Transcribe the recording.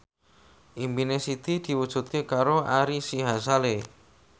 impine Siti diwujudke karo Ari Sihasale